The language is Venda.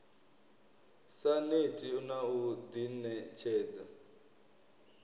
sa neti na u ḓiṋetshedza